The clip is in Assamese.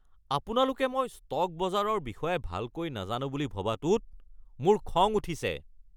আপোনালোকে মই ষ্টক বজাৰৰ বিষয়ে ভালকৈ নাজানো বুলি ভবাটোত মোৰ খং উঠিছে।